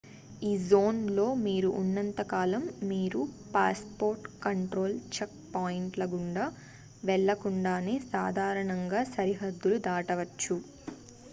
ఈ జోన్ లో మీరు ఉన్నంత కాలం మీరు passport control checkpoint ల గుండా వెళ్లకుండానే సాధారణంగా సరిహద్దులు దాటవచ్చు